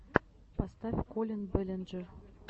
поставь коллин бэллинджер